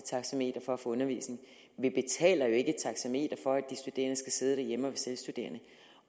taxameter for at få undervisning vi betaler jo ikke efter taxameter for at de studerende skal sidde derhjemme og selvstuderende